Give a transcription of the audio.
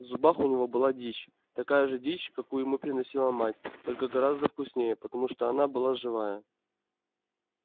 в зубах у него была дичь такая же дичь какую ему приносила мать только гораздо вкуснее потому что она была живая